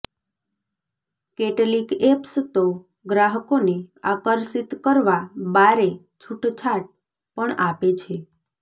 કેટલીક એપ્સ તો ગ્રાહકોને આકર્ષિત કરવા બારે છુટછાટ પણ આપે છે